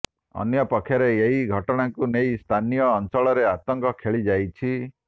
ଅନ୍ୟପକ୍ଷରେ ଏହି ଘଟଣାକୁ ନେଇ ସ୍ଥାନୀୟ ଅଞ୍ଚଳରେ ଆତଙ୍କ ଖେଳି ଯାଇଛି